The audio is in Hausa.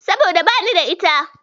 Saboda bani da ita.